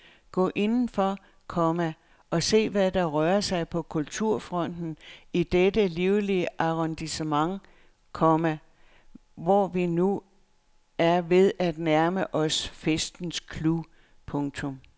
Gå indenfor, komma og se hvad der rører sig på kulturfronten i dette livlige arrondissement, komma hvor vi nu er ved at nærme os festens clou. punktum